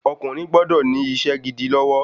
Ọkùnrin gbọdọ̀ ní isé gidi lọ́wọ́